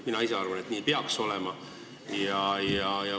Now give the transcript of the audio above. Mina ise arvan, et nii peaks olema.